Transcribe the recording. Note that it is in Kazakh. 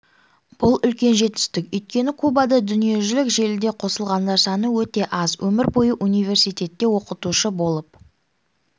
бұл үлкен жетістік өйткені кубада дүниежүзілік желіге қосылғандар саны өте аз өмір бойы университетте оқытушы болып